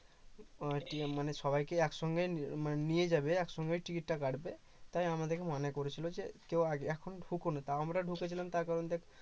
মানে সবাইকে একসঙ্গে মানে নিয়ে যাবে একসঙ্গেই টিকিট টা কাটবে তাই আমাদেরকে মানা করেছিল যে কেউ এখন ঢুকোনা তাও আমরা ঢুকেছিলাম এর কারণটা কি